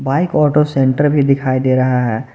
Bike auto centre भी दिखाई दे रहा है।